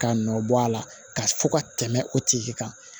K'a nɔ bɔ a la ka fɔ ka tɛmɛ o tigi kan